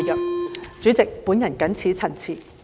代理主席，我謹此陳辭。